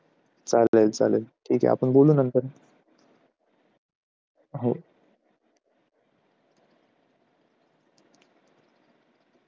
चालेल चालेल ठीक आहे आपण बोलू नंतर